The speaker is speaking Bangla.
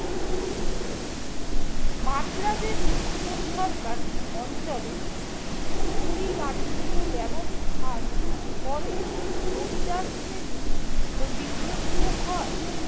মাদ্রাজের উত্তর সরকার অঞ্চলের ভূমি রাজস্ব ব্যবস্থার ফলে জমিদার শ্রেণী ক্ষতিগ্রস্ত হয় ।